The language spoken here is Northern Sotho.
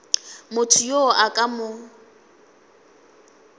motho yo a ka mo